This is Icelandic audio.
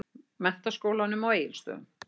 Menntaskólanum á Egilsstöðum.